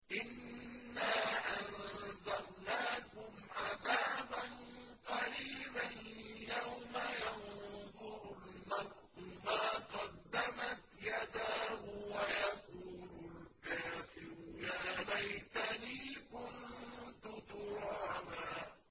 إِنَّا أَنذَرْنَاكُمْ عَذَابًا قَرِيبًا يَوْمَ يَنظُرُ الْمَرْءُ مَا قَدَّمَتْ يَدَاهُ وَيَقُولُ الْكَافِرُ يَا لَيْتَنِي كُنتُ تُرَابًا